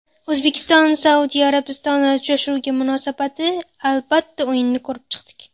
O‘zbekiston Saudiya Arabistoni uchrashuviga munosabati Albatta, o‘yinni ko‘rib chiqdik.